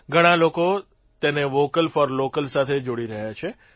ઘણા લોકો તેને વોકલ ફોર લોકલ સાથે જોડી રહ્યા છે